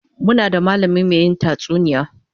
Muna da mallami mai yin tatsuniya